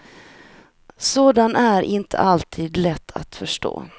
Sådan är inte alltid lätt att förstå.